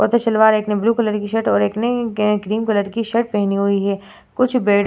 सलवार एक ने blue colour की शर्ट और एक ने ग्रे क्रीम कलर की शर्ट पहनी हुई है कुछ बेड --